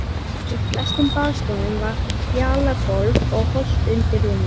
Í flestum baðstofum var fjalagólf og holt undir rúmin.